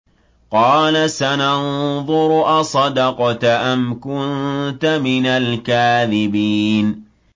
۞ قَالَ سَنَنظُرُ أَصَدَقْتَ أَمْ كُنتَ مِنَ الْكَاذِبِينَ